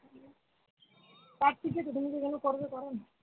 একপিঠে তো তুমি যেগুলো করবে করো না?